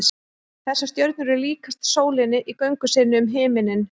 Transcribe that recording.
þessar stjörnur eru líkastar sólinni í göngu sinni um himininn